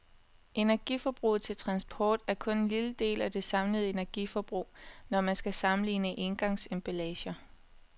Energiforbruget til transport er kun en lille del af det samlede energiforbrug, når man skal sammenligne engangsemballager.